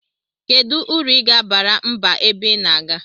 Kedu uru iga abara mba ebe ina aga?